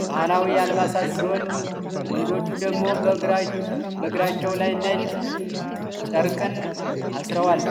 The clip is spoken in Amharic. የባህላዊ አልባሳትን ሲሆን ወንዶቹ ደግሞ በግባራቸው ላይ ነጭ ቸርቅን አስረዋል።